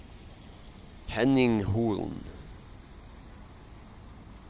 Henning Holen